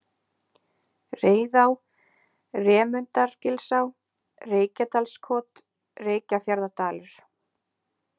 Reiðá, Remundargilsá, Reykjadalskot, Reykjafjarðardalur